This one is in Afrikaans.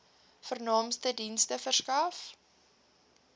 vernaamste dienste verskaf